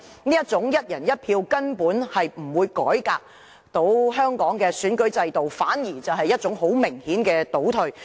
這種"一人一票"方案根本不能改革香港的選舉制度，反而很明顯是一種倒退。